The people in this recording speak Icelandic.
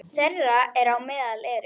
Þeirra á meðal eru